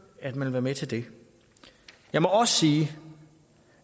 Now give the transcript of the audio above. at man vil være med til det jeg må også sige